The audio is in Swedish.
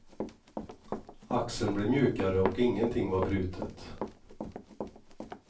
Axeln blev mjukare och ingenting var brutet.